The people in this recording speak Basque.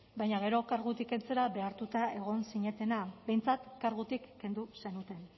baina gero kargutik kentzera behartuak egon zinetena behintzat kargutik kendu zenuten